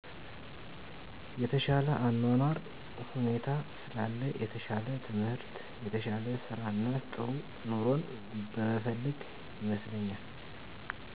የተሻለ የአኗኗር ሁኔታ ስላለ የተሻለ ትምህር የተሻለ ስራእና ጥሩ ኑሮን በመፈለግ ይመስለኛል